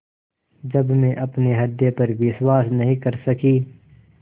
जब मैं अपने हृदय पर विश्वास नहीं कर सकी